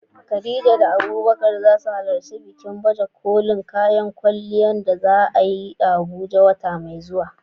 Khadija da Abubakar za su halarci bikin baje kolin kayan kwalliya da za a yi a Abuja wata mai zuwa.